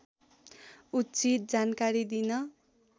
उचित जानकारी दिन